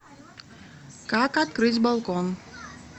как открыть балкон